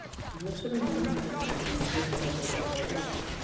Hún hugsar um hann hvort sem honum líkar það betur eða verr.